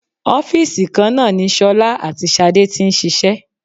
Ọ́fìsì kan náà ni ṣọlá àti Ṣadé tí ń ṣiṣẹ́